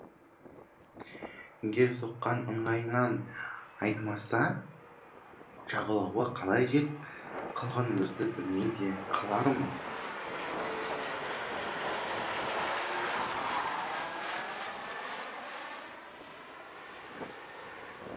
егер соққан ыңғайынан айнымаса жағалауға қалай жетіп қалғанымызды білмей де қалармыз